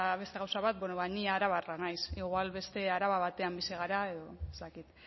beste gauza bat bueno bada ni arabarra naiz igual beste araba batean bizi gara edo ez dakit